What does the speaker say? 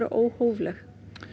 óhófleg